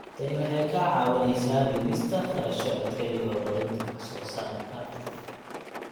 Tani waxay kaa caawinaysaa dhimista kharashaadka iyo horumarinta wax soo saarka.